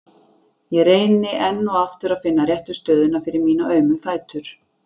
Ég reyni enn og aftur að finna réttu stöðuna fyrir mína aumu fætur.